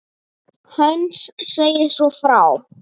Heinz segir svo frá